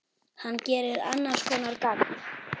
Hann gerir annars konar gagn.